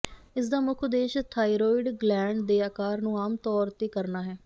ਇਸਦਾ ਮੁੱਖ ਉਦੇਸ਼ ਥਾਈਰੋਇਡ ਗਲੈਂਡ ਦੇ ਆਕਾਰ ਨੂੰ ਆਮ ਤੌਰ ਤੇ ਕਰਨਾ ਹੈ